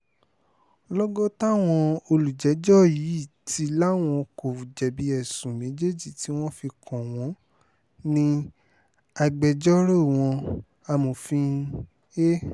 lọ́gán táwọn olùjẹ́jọ́ yìí ti láwọn kò jẹ̀bi ẹ̀sùn méjèèjì tí wọ́n fi kàn wọ́n ní agbẹjọ́rò wọn amòfin a